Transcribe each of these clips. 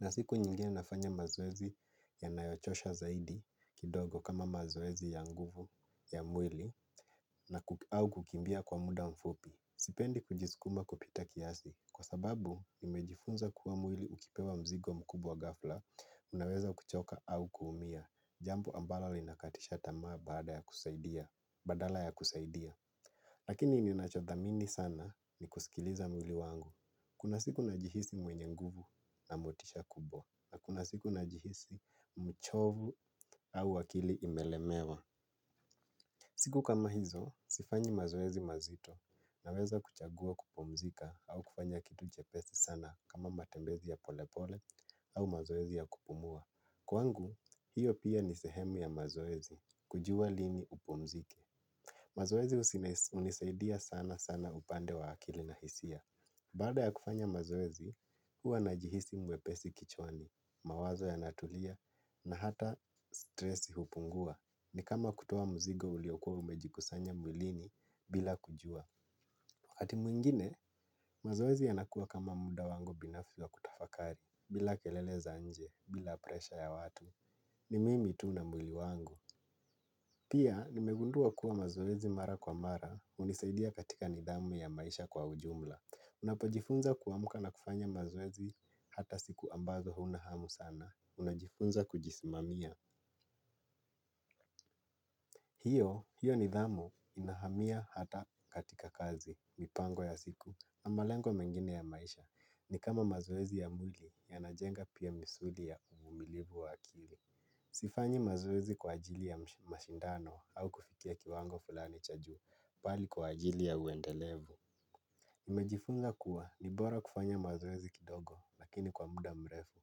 Na siku nyingine nafanya mazoezi yanayochosha zaidi kidogo kama mazoezi ya nguvu ya mwili na au kukimbia kwa muda mfupi. Sipendi kujisukuma kupita kiasi kwa sababu nimejifunza kuwa mwili ukipewa mzigo mkubwa ghafla, unaweza kuchoka au kuumia, jambo ambalo linakatisha tamaa badala ya kusaidia. Lakini ninachothamini sana ni kusikiliza mwili wangu. Kuna siku najihisi mwenye nguvu na motisha kubwa. Na kuna siku najihisi mchovu au akili imelemewa. Siku kama hizo, sifanyi mazoezi mazito naweza kuchagua kupumzika au kufanya kitu chepesi sana kama matembezi ya polepole au mazoezi ya kupumua. Kwangu, hiyo pia ni sehemu ya mazoezi kujua lini upumzike. Mazoezi hunisaidia sana sana upande wa akili na hisia. Baada ya kufanya mazoezi, huwa najihisi mwepesi kichwani, mawazo yanatulia, na hata stresi hupungua. Ni kama kutoa mzigo uliokua umejikusanya mwilini bila kujua. Wakati mwingine, mazoezi yanakua kama muda wangu binafsi wa kutafakari, bila kelele za nje, bila presha ya watu. Ni mimi tu na mwili wangu. Pia, nimegundua kuwa mazoezi mara kwa mara, hunisaidia katika nidhamu ya maisha kwa ujumla. Unapojifunza kuamka na kufanya mazoezi hata siku ambazo huna hamu sana, unajifunza kujisimamia. Hiyo, hiyo nidhamu inahamia hata katika kazi, mipango ya siku, na malengo mengine ya maisha. Ni kama mazoezi ya mwili, yanajenga pia misuli ya uvulivu wa akili. Sifanyi mazoezi kwa ajili ya mashindano au kufikia kiwango fulani cha juu bali kwa ajili ya uendelevu nimejifunza kuwa ni bora kufanya mazoezi kidogo lakini kwa muda mrefu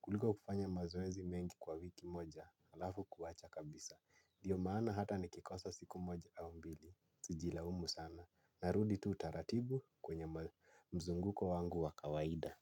kuliko kufanya mazoezi mengi kwa wiki moja halafu kuwacha kabisa ndiyo maana hata nikikosa siku moja au mbili sijilaumu sana narudi tu taratibu kwenye mzunguko wangu wa kawaida.